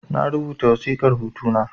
Na rubuta wasiƙar hutu na